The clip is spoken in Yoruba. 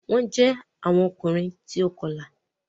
Wọn jẹ àwọn Ọkùnrin tí o kọla